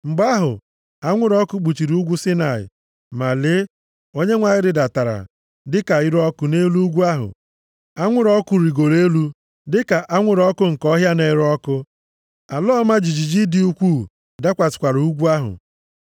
Mgbe ahụ, anwụrụ ọkụ kpuchiri ugwu Saịnaị. Ma lee! Onyenwe anyị rịdatara dịka ire ọkụ nʼelu ugwu ahụ. Anwụrụ ọkụ rigoro elu dịka anwụrụ ọkụ nke ọhịa na-ere ọkụ. Ala ọma jijiji dị ukwuu dakwasịkwara ugwu ahụ.